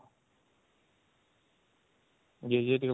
ଯିଏ ଯିଏ ଟିକେ ଭଲକି